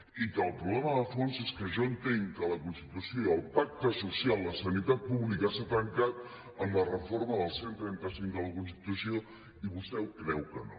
i que el problema de fons és que jo entenc que la constitució el pacte social la sanitat pública s’ha trencat amb la reforma del cent i trenta cinc de la constitució i vostè creu que no